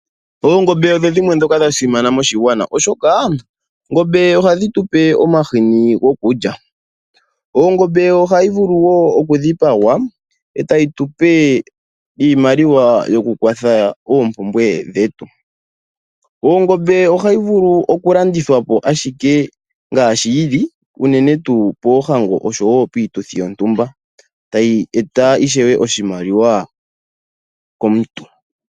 Oongombe odho dhimwe ndhoka dha simana moshigwana, oshoka oongombe ohadhi tu pe omahini gokulya. Ongombe ohayi vulu wo okudhipagwa, e tayi tu pe iimaliwa yoku ikwatha nayo moompumbwe dhetu. Ongombe ohayi vulu okulandithwa po othika, unene tuu poohango noshowo piituthi yontumba e tayi eta ishewe oshimaliwa komuntu.